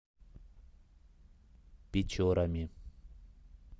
печорами